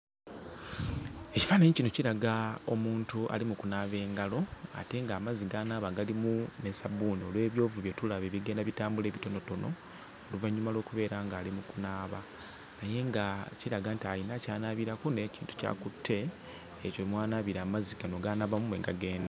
Ekifaananyi kino kiraga omuntu ali mu kunaaba engalo ate ng'amazzi g'anaaba galimu ne ssabbuuni olw'ebyovu bye tulaba ebigenda bitambula ebitonotono, oluvannyuma lw'okubeera ng'ali mu kunaaba, naye nga kiraga nti alina ky'anaabirako n'ekintu ky'akutte, ekyo mw'anaabira amazzi gano g'anaabamu mwe gagenda.